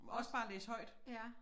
Også bare læse højt